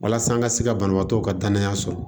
Walasa an ka se ka banabaatɔw ka danaya sɔrɔ